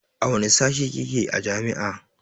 A wanne sashe kike a jami'a?